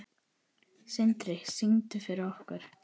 Sindri: Syngdu fyrir okkur?